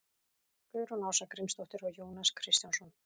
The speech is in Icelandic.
guðrún ása grímsdóttir og jónas kristjánsson